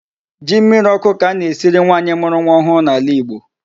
Ji mmirí ọkụ ka a na-esiri nwanyị mụrụ nwa ọhụụ n'ala Igbo.